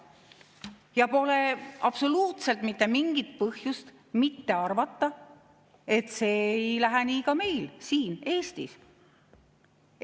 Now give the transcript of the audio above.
Ja pole absoluutselt mitte mingit põhjust mitte arvata, et see ei lähe nii ka meil Eestis.